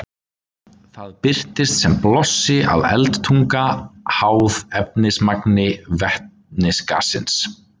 Það birtist sem blossi eða eldtunga, háð efnismagni vetnisgassins.